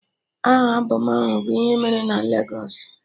Aha albọm ahụ bụ "ihe emere na Legos"